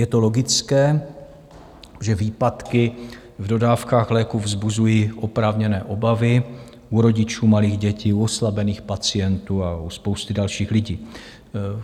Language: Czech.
Je to logické, že výpadky v dodávkách léků vzbuzují oprávněné obavy u rodičů malých dětí, u oslabených pacientů a u spousty dalších lidí.